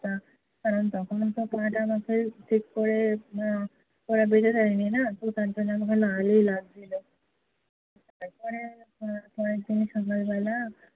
কারণ তখনো তো পা টা আমাকে ঠিক করে আহ ওরা বেঁধে দেয়নি না। তোর তার জন্য মনে হয় লাল ই লাগছিলো। তারপরে পরেরদিন সকালবেলা